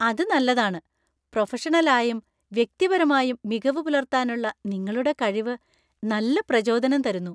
അത് നല്ലതാണ്. പ്രൊഫഷണലായും വ്യക്തിപരമായും മികവ് പുലർത്താനുള്ള നിങ്ങളുടെ കഴിവ് നല്ല പ്രചോദനം തരുന്നു.